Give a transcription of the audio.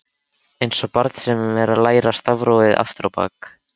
Einsog barn sem er að læra stafrófið aftur á bak.